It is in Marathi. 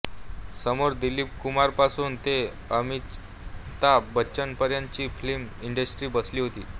समोर दिलीप कुमारपासून ते अमिताभ बच्चनपर्यंतची फिल्म इंडस्ट्री बसली होती